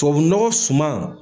Tubabunɔgɔ suman